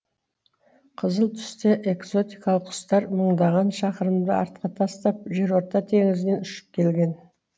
қызыл түсті экзотикалық құстар мыңдаған шақырымды артқа тастап жерорта теңізінен ұшып келген